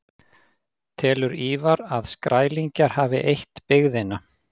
Telur Ívar að Skrælingjar hafi eytt byggðina.